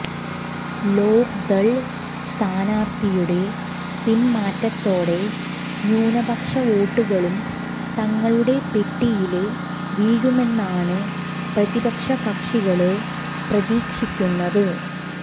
ലോക്ദള് സ്ഥാനാര്ഥിയുടെ പിന്മാറ്റത്തോടെ ന്യൂനപക്ഷവോട്ടുകളും തങ്ങളുടെ പെട്ടിയില് വീഴുമെന്നാണ് പ്രതിപക്ഷകക്ഷികള് പ്രതീക്ഷിക്കുന്നത്